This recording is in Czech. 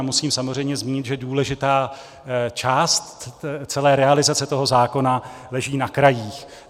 A musím samozřejmě zmínit, že důležitá část celé realizace toho zákona leží na krajích.